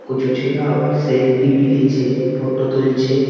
কচু ছেলে আবার সেলফি বিলিছে ফোটো তুলছে ।